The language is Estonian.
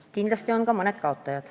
Aga kindlasti on ka mõned kaotajad.